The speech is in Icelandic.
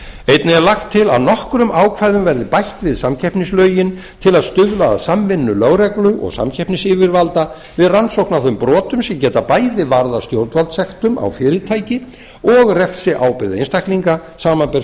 einnig er lagt til að nokkrum ákvæðum verði bætt við samkeppnislögin til að stuðla að samvinnu lögreglu og samkeppnisyfirvalda við rannsókn á þeim brotum sem geta bæði varðað stjórnvaldssektum á fyrirtæki og refsiábyrgð einstaklinga samanber